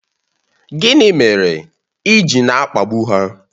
Gịnị mere ị ji na-akpagbu ha?